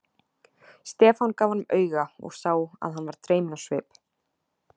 Stefán gaf honum auga og sá að hann varð dreyminn á svip.